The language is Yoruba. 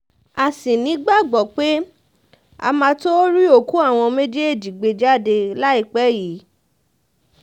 a sì ní ìgbàgbọ́ pé a máa tóó rí òkú àwọn méjèèjì gbé jáde láìpẹ́ yìí